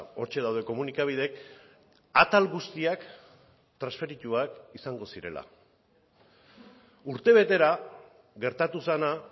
hortxe daude komunikabideek atal guztiak transferituak izango zirela urtebetera gertatu zena